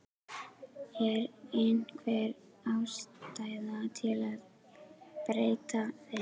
Fréttamaður: Er einhver ástæða til að breyta þeim?